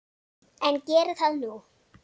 En geri það nú.